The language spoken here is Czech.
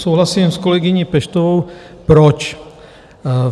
Souhlasím s kolegyní Peštovou, proč?